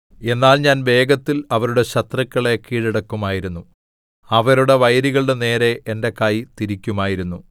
എന്നാൽ ഞാൻ വേഗത്തിൽ അവരുടെ ശത്രുക്കളെ കീഴടക്കുമായിരുന്നു അവരുടെ വൈരികളുടെ നേരെ എന്റെ കൈ തിരിക്കുമായിരുന്നു